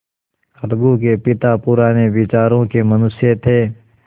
अलगू के पिता पुराने विचारों के मनुष्य थे